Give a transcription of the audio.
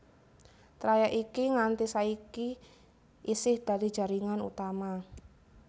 Trayèk iki nganti saiki isih dadi jaringan utama